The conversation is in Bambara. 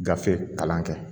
Gafe kalan kɛ